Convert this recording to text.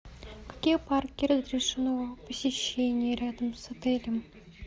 какие парки разрешено посещение рядом с отелем